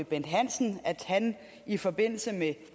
bent hansen i forbindelse med